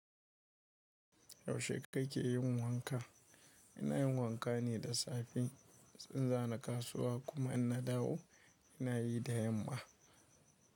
Yaushe kake yin wanka? Ina yin wanka ne da safe in za ni kasuwa kuma inna dawo ina yi da yamma.